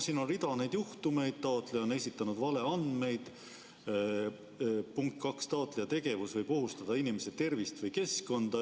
Siin on näiteks sellised juhtumid: "1) taotleja on esitanud valeandmeid, 2) taotleja tegevus võib ohustada inimeste tervist või keskkonda.